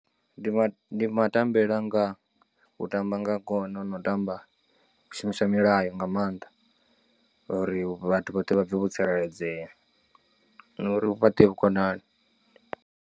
Ndi ma ma tambele anga u tamba nga gona no u tamba u shumisa milayo nga maanḓa uri vhathu vhoṱhe vha pfhe vho tsireledzea na uri hu fhaṱee vhukonani.